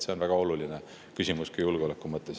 See on väga oluline küsimus ka julgeoleku mõttes.